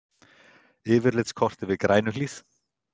Yfirlitskort yfir Grænuhlíð.